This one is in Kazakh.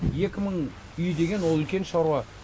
екі мың үй деген ол үлкен шаруа